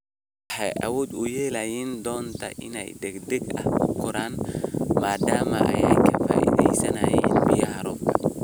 Waxa ay awood u yeelan doontaa in ay si degdeg ah u koraan maadaama ay ka faa'iideysanayaan biyaha roobka.